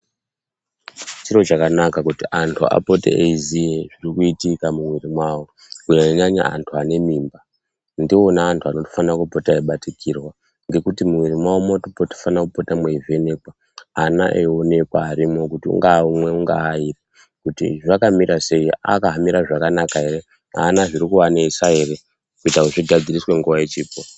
Chiro chakanaka kuti anthu apote eiziye zviri kuitika mumwiri mwawo kunyanyanyanya anthu ane mimba. Ndiwona anthu anofanira kupota eibatikirwa ngekuti mumwiri mwawo munofanira kupote mweivhenekwa ana eionekwa arimwo ungaa umwe ungaa airi kuti zvamira sei akamira zvakanaka here aana zviri kuanesa ere kuitira kuti zvigadziriswe nguwa ichiripo.